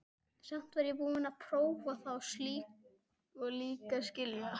Samt var ég búin að prófa það og líka skilja.